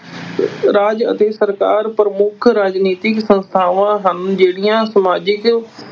ਰਾਜ ਅਤੇ ਸਰਕਾਰ ਪ੍ਰਮੁੱਖ ਰਾਜਨੀਤਿਕ ਸੰਸਥਾਵਾਂ ਹਨ ਜਿਹੜੀਆਂ ਸਮਾਜਿਕ